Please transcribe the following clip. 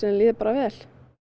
líði bara vel